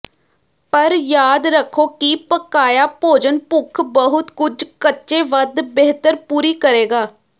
ਪਰ ਯਾਦ ਰੱਖੋ ਕਿ ਪਕਾਇਆ ਭੋਜਨ ਭੁੱਖ ਬਹੁਤ ਕੁਝ ਕੱਚੇ ਵੱਧ ਬਿਹਤਰ ਪੂਰੀ ਕਰੇਗਾ